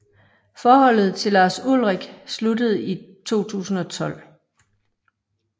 Forholdet til Lars Ulrich sluttede i 2012